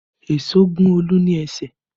Èso gún Olu ní ẹsẹ̀